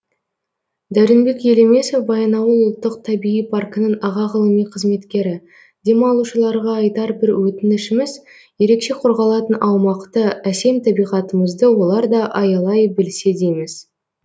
дәуренбек елемесов баянауыл ұлттық табиғи паркінің аға ғылыми қызметкері демалушыларға айтар бір өтінішіміз ерекше қорғалатын аумақты әсем табиғатымызды олар да аялай білсе дейміз